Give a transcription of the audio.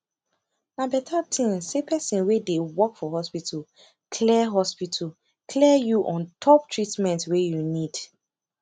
na beta thin say person wey dey work for hospital clear hospital clear you ontop treatment wey you need